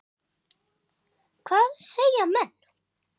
Hvað segja menn?